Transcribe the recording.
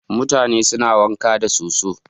Mutane suna wanka da soso.